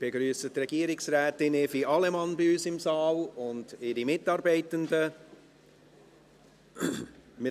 Ich begrüsse Regierungsrätin Evi Allemann und ihre Mitarbeitenden bei uns im Saal.